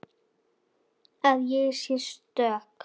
Hann leit til Tóta.